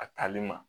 A tali ma